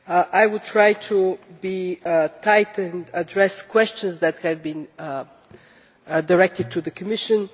I will try to be concise and address questions that have been directed to the Commission.